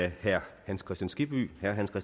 herre hans kristian skibby